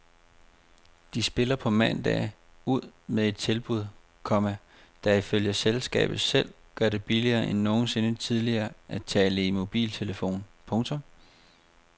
De spiller på mandag ud med et tilbud, komma der ifølge selskabet selv gør det billigere end nogensinde tidligere at tale i mobiltelefon. punktum